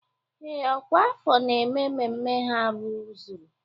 Ee, ọkwa afọ na-eme mmemme ha rụzuru.